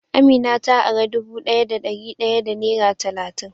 Amina ta ara dubu daya da dari daya da nera talatin.